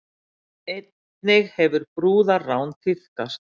Einnig hefur brúðarrán tíðkast